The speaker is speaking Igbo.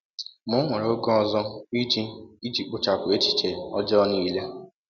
Ma o were oge ọzọ iji iji kpochapụ echiche ọjọọ niile.